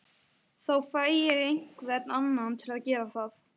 Þá fæ ég einhvern annan til að gera það